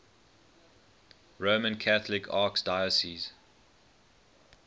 roman catholic archdiocese